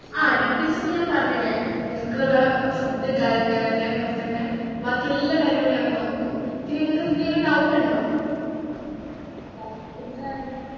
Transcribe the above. ആഹ് details ഇപ്പൊ ഞാൻ പറഞ്ഞില്ലേ നിങ്ങൾക്കുള്ള food കാര്യങ്ങൾ അതേമാതിരി തന്നെ ബാക്കി എല്ലാ കാര്യങ്ങളും നമ്മൾ നോക്കും പിന്നെ നിങ്ങക്ക് എന്തെങ്കിലും doubt ഉണ്ടോ